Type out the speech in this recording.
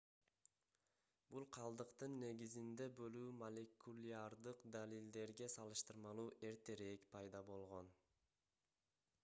бул калдыктын негизинде бөлүү молекулярдык далилдерге салыштырмалуу эртерээк пайда болгон